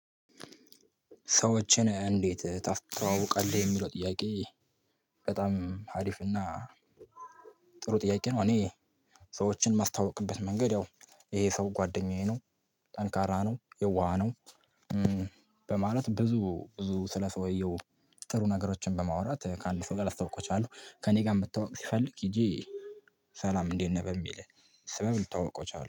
ሰዎችን እንዴት ታስተዋውቃለህ? የሚለው ጥያቄ በጣም አሪፍና ጥሩ ጥያቄ ነው። እኔ ሰዎችን የማስተዋውቅበት መንገድ ያው ይሄ ሰው ጓደኛዬ ነው፣ ጠንካራ ነው፣ የዋህ ነው፣ በማለት ብዙ ብዙ ስለ ሰውየው ጥሩ ነገሮችን በማውራት ከአንድ ሰው ጋር አስተዋውቃቸዋሁ ከእኔ ጋር መተዋውቅ ሲፈልግ ሄጄ ሰላም እንዴት ነህ በሚል ስብብ ልተዋውቆው እችላለሁ